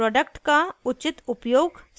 product का उचित उपयोग सुनिश्चित करना